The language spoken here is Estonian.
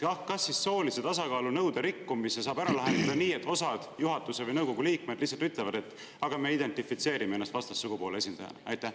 Kas soolise tasakaalu nõude rikkumise saab ära lahendada nii, et osad juhatuse või nõukogu liikmed ütlevad, et nemad identifitseerivad ennast vastassugupoole esindajana?